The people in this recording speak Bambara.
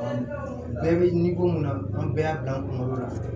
bɛɛ bɛ mun na an bɛɛ y'a bila an kunkolo la